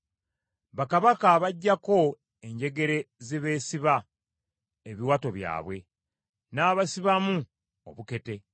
Bakabaka abaggyako enjegere ze beesiba ebiwato byabwe, n’abasibamu obukete.